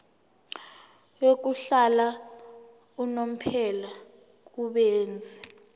yokuhlala unomphela kubenzi